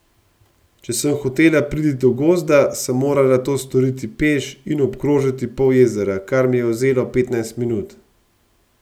Če sem hotela priti do gozda, sem morala to storiti peš in obkrožiti pol jezera, kar mi je vzelo petnajst minut.